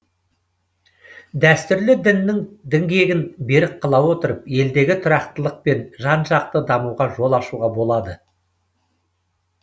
дәстүрлі діннің діңгегін берік қыла отырып елдегі тұрақтылық пен жан жақты дамуға жол ашуға болады